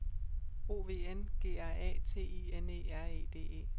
O V N G R A T I N E R E D E